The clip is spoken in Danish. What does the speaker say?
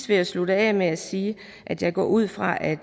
vil slutte af med at sige at jeg går ud fra at